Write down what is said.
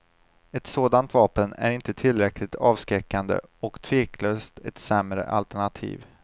Ett sådant vapen är inte tillräckligt avskräckande och tveklöst ett sämre alternativ.